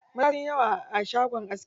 Maza sunyi yawa a shagon askin.